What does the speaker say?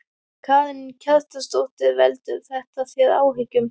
Karen Kjartansdóttir: Veldur þetta þér áhyggjum?